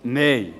Nein